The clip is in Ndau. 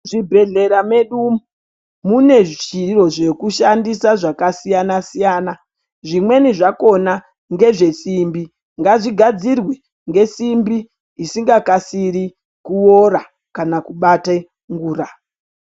Muzvibhedhlera medu mune zviro zvekushandisa zvakasiyana-siyana. Zvimweni zvakona ngezvesimbi ngazvigadzirwe ngesimbi isinga kasiri kuvora kana kubata ngura.